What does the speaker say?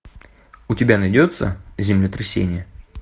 у тебя найдется землетрясение